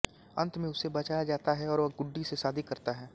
अंत में उसे बचाया जाता है और वह गुड्डी से शादी करता है